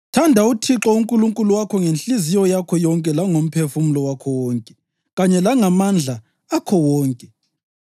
Thanda uThixo uNkulunkulu wakho ngenhliziyo yakho yonke langomphefumulo wakho wonke kanye langamandla akho wonke.